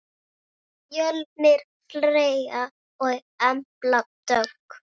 Fjölnir Freyr og Embla Dögg.